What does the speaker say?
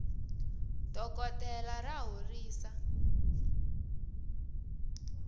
dokoltela ra horisa